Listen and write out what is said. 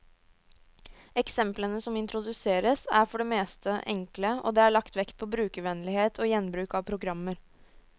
Eksemplene som introduseres, er for det meste enkle, og det er lagt vekt på brukervennlighet og gjenbruk av programmer.